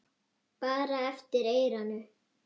Bara eftir eyranu.